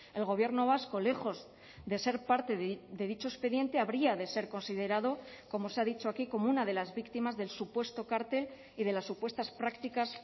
el gobierno vasco lejos de ser parte de dicho expediente habría de ser considerado como se ha dicho aquí como una de las víctimas del supuesto cartel y de las supuestas prácticas